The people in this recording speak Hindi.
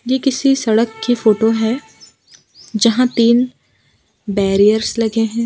ये किसी सड़क की फोटो है जहाँ तीन बेर्रियर्स लगे है।